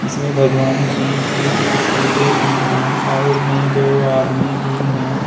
इसमें भगवान जी की तस्वीरे भी हैं। साइड में दो आदमी भी हैं।